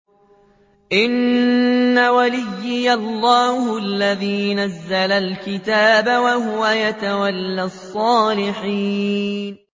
إِنَّ وَلِيِّيَ اللَّهُ الَّذِي نَزَّلَ الْكِتَابَ ۖ وَهُوَ يَتَوَلَّى الصَّالِحِينَ